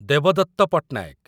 Debadatta Patnaik